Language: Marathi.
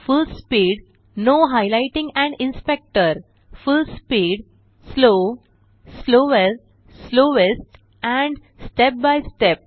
full speed full speed slow slower slowest and step by step